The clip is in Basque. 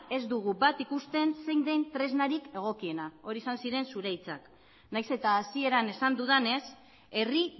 ez dugu bat ikusten zein den tresnarik egokiena horiek izan ziren zure hitzak nahiz eta hasieran esan dudanez herri